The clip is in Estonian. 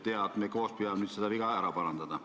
Hea, et me koos püüame nüüd neid ära parandada.